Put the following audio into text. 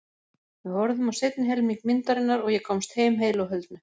Við horfðum á seinni helming myndarinnar og ég komst heim heilu og höldnu.